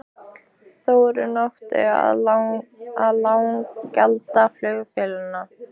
Þróun í átt að lággjaldaflugfélagi?